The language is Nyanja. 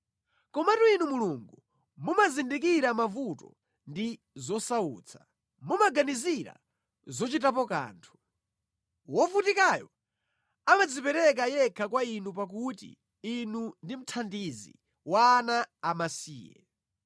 Komatu Inu Mulungu, mumazindikira mavuto ndi zosautsa, mumaganizira zochitapo kanthu. Wovutikayo amadzipereka yekha kwa Inu pakuti Inu ndi mthandizi wa ana amasiye.